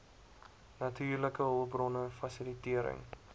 natuurlike hulpbronne fasilitering